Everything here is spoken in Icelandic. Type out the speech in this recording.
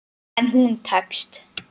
En hún tekst.